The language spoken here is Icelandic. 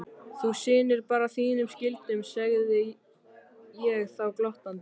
Þú sinnir bara þínum skyldum, segði ég þá glottandi.